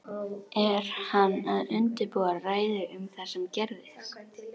Er hann að undirbúa ræðu um það sem gerðist?